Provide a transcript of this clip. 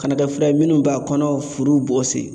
Kana kɛ fura ye minnu b'a kɔnɔ furu bɔsi